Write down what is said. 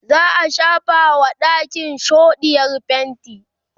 za'a shafa wa ɗakin shoɗiyar fainti